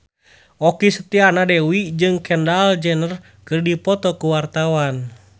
Okky Setiana Dewi jeung Kendall Jenner keur dipoto ku wartawan